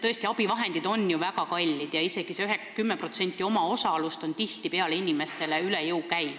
Tõesti, abivahendid on väga kallid ja isegi see 10%-line omaosalus käib inimestele tihtipeale üle jõu.